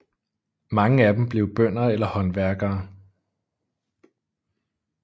Mange af dem blev bønder eller håndværkere